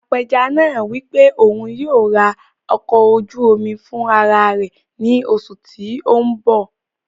Apẹja náà wí pé òun yóò rà ọkọ̀ ojú omi fún ara rẹ̀ ní oṣù tí o n bọ̀